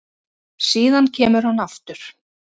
Síðan kemur hann aftur